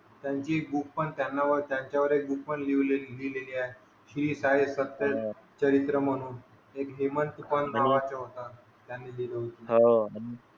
त्यांनी एक बुक त्यांच्या वर एक बुक पण लिहलेली आहे श्री साई सत्य चरित्र म्हणून एक हेमंत तुपण नावाचा होता त्यांनी लिहिल होत.